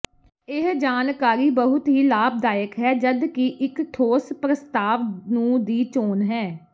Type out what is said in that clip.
ਇਹ ਜਾਣਕਾਰੀ ਬਹੁਤ ਹੀ ਲਾਭਦਾਇਕ ਹੈ ਜਦ ਕਿ ਇੱਕ ਠੋਸ ਪ੍ਰਸਤਾਵ ਨੂੰ ਦੀ ਚੋਣ ਹੈ